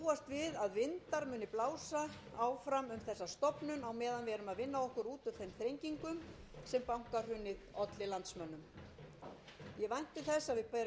við erum að vinna okkur út úr þeim þrengingum sem bankahrunið olli landsmönnum ég vænti þess